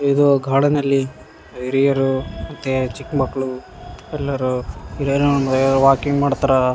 ಇದು ಕಾಡಿನಲ್ಲಿ ಹಿರಿಯರು ಮತ್ತೆ ಚಿಕ್ಕ್ ಮಕ್ಳು ಎಲ್ಲರು ಇದೆ ವಾಕಿಂಗ ಮಾಡ್ತಾರಾ.